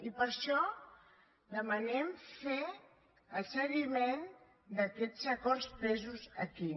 i per això demanem fer el seguiment d’aquests acords presos aquí